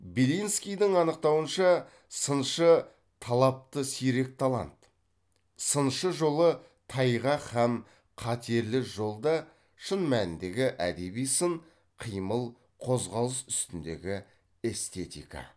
белинскийдің анықтауынша сыншы талапты сирек талант сыншы жолы тайғақ һәм қатерлі жол да шын мәніндегі әдеби сын қимыл қозғалыс үстіндегі эстетика